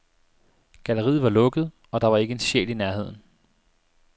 Galleriet var lukket, og der var ikke en sjæl i nærheden.